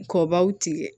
Kɔbaw tigɛ